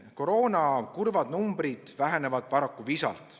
Koroona kurvad numbrid vähenevad paraku visalt.